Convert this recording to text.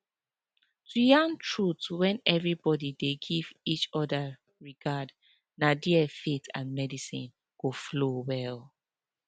to yarn truth when everybody dey give each other regard na there faith and medicine go flow well